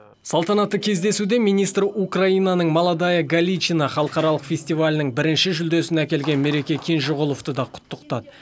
салтанатты кездесуде министр украинаның молодая галичина халықаралық фестивалінің бірінші жүлдесін әкелген мереке кенжеғұловты да құттықтады